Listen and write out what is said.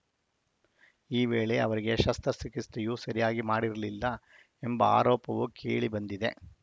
ಈ ವೇಳೆ ಅವರಿಗೆ ಶಸ್ತ್ರ ಚಿಕಿತ್ಸೆಯೂ ಸರಿಯಾಗಿ ಮಾಡಿರಲಿಲ್ಲ ಎಂಬ ಆರೋಪವು ಕೇಳಿಬಂದಿದೆ